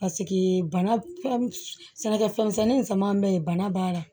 bana fɛn sɛnɛkɛfɛn misɛnnin nin sama an bɛ yen bana b'a la